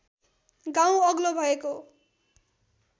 गाउँ अग्लो भएको